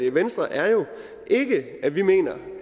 i venstre er jo ikke at vi mener